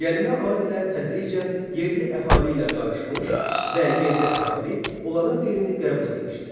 Gəlmə Arilər tədricən yerli əhali ilə qarışmış və yerli əhali onların dilini qəbul etmişdir.